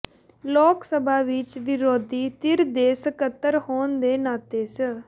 ਲੋਕ ਸਭਾ ਵਿਚ ਵਿਰੋਧੀ ਧਿਰ ਦੇ ਸਕੱਤਰ ਹੋਣ ਦੇ ਨਾਤੇ ਸ